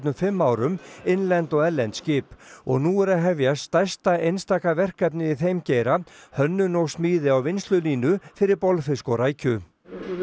fimm árum innlend og erlend skip og nú er hefjast stærsta einstaka verkefnið í þeim geira hönnun og smíði á vinnslulínu fyrir bolfisk og rækju við